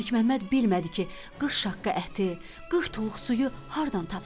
Məlik Məmməd bilmədi ki, 40 şaqqa əti, 40 tuluq suyu hardan tapsın.